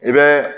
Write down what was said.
I bɛ